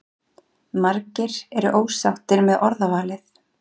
Margir eru ósáttir með orðavalið